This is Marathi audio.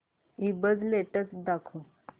ईबझ लेटेस्ट दाखव